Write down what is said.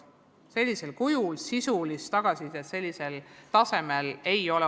Sellisel kujul ja tasemel sisulist tagasisidet ei ole varem olnud.